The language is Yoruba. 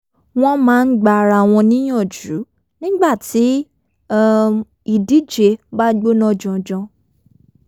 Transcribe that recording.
wọ́n máa ń gba ara wọn níyànjú nígbà tí um ìdíje bá gbóná janjan